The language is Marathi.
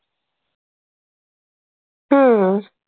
हम्म.